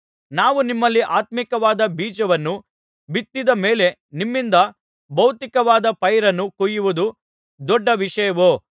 ನಾವು ನಿಮ್ಮಲ್ಲಿ ಆತ್ಮೀಕವಾದ ಬೀಜವನ್ನು ಬಿತ್ತಿದ ಮೇಲೆ ನಿಮ್ಮಿಂದ ಭೌತಿಕವಾದ ಪೈರನ್ನು ಕೊಯ್ಯುವುದು ದೊಡ್ಡ ವಿಷಯವೋ